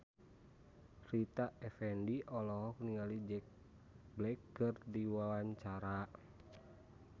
Rita Effendy olohok ningali Jack Black keur diwawancara